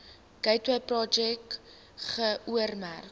gateway projek geoormerk